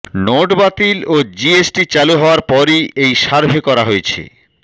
note বাতিল ও GST চালু হওয়ার পরই এই সার্ভে করা হয়েছে